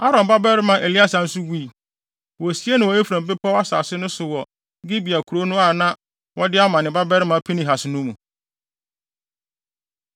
Aaron babarima Eleasar nso wui. Wosiee no wɔ Efraim bepɔw asase no so wɔ Gibea kurow no a na wɔde ama ne babarima Pinehas no mu.